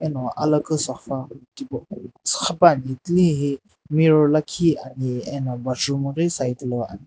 eno alakhu sofa tipau suxupuani tilehi mirror lakhi ani eno washroom ghi side lo ani.